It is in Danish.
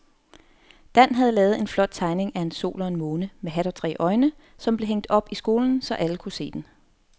Dan havde lavet en flot tegning af en sol og en måne med hat og tre øjne, som blev hængt op i skolen, så alle kunne se den.